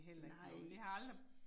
Nej